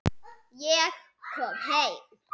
Ég kom heim!